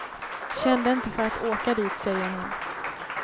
Kände inte för att åka dit, säger han.